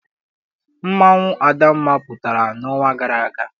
Mmanwụ adamma pụtara n'ọnwa gara aga.